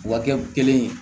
Wa kɛ kelen ye